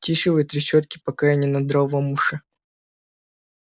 тише вы трещотки пока я не надрал вам уши